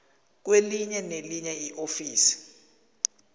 kwelinye nelinye iofisi